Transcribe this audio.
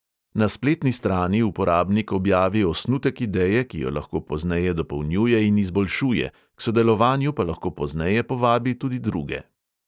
Na spletni strani uporabnik objavi osnutek ideje, ki jo lahko pozneje dopolnjuje in izboljšuje, k sodelovanju pa lahko pozneje povabi tudi druge.